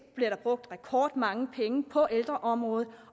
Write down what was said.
brugt rekordmange penge på ældreområdet